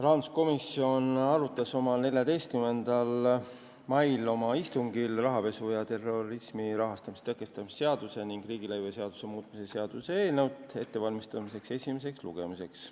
Rahanduskomisjon arutas oma 14. mai istungil rahapesu ja terrorismi rahastamise tõkestamise seaduse ning riigilõivuseaduse muutmise seaduse eelnõu ettevalmistamist esimeseks lugemiseks.